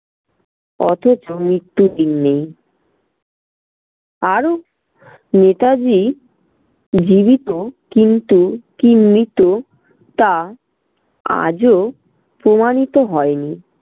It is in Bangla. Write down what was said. অথচ মৃত্যুদিন নেই। আরও নেতাজি জীবিত কিন্তু কি মৃত তা আজও প্রমাণিত হয়নি